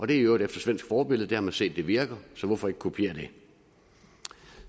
det er i øvrigt efter svensk forbillede der har man set at det virker så hvorfor ikke kopiere det